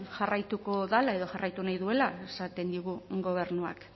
jarraituko dela edo jarraitu nahi duela esaten digu gobernuak